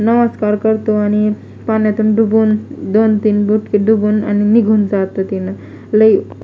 नमस्कार करतो आणि पाण्यातून डुबून दोन तीन बुटके डुबून आणि निघून जातो तीन लई --